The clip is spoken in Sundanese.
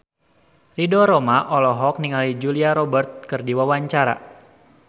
Ridho Roma olohok ningali Julia Robert keur diwawancara